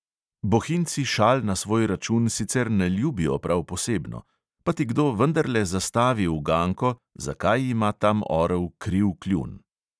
Bohinjci šal na svoj račun sicer ne ljubijo prav posebno, pa ti kdo vendarle zastavi uganko, zakaj ima tam orel kriv kljun.